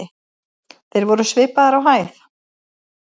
Þeir voru svipaðir á hæð.